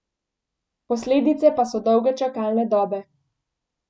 Posledice pa so dolge čakalne dobe.